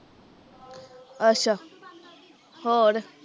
ਅੱਛਾ ਹੋਰ